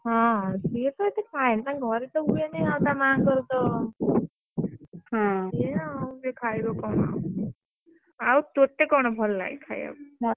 ହଁ ସିଏ ଏତେ ଖାଏନି ତାଂକ ଘରେ ତ ହୁଏନି ଆଉ ତାମାଙ୍କର ତ ସିଏ ଆଉ ସେ ଖାଇବ କଣ? ଆଉ ଆଉ ତତେ କଣ ଭଲ ଲାଗେ ଖାଇବାକୁ?